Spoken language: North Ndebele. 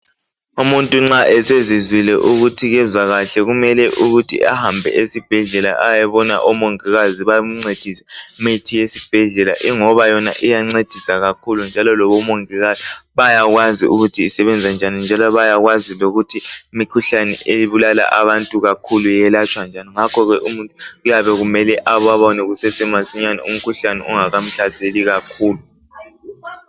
Umuntu nxa esezizwile ukuthi kezwa kahle. Kumele ukuthi ahambe esibhedlela. Ayebona omongikazi bamncedise. lmithi yesibhedlela ingoba yona iyancedisa kakhulu, njalo labomongikazi bayakwazi ukuthi isebenza njani, njalo bayakwazi lokuthi imikhuhlane ebulala abantu kakhulu, iyelatshwa njani. Ngakho ke umuntu kuyabe kumele ababone kusasemasinyane. Umkhuhlane, ungakamhlaseli kakhulu.